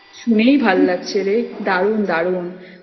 শুনেই ভালো লাগছে রে দারুণ! দারুণ!